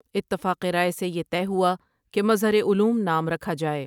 اتفاق رائے سے یہ طے ہوا کہ مظہرعلوم نام رکھا جائے ۔